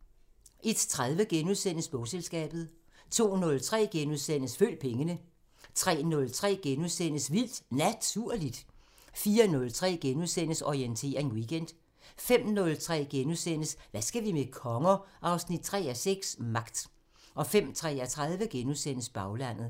01:30: Bogselskabet * 02:03: Følg pengene * 03:03: Vildt Naturligt * 04:03: Orientering Weekend * 05:03: Hvad skal vi med konger? 3:6 – Magt * 05:33: Baglandet *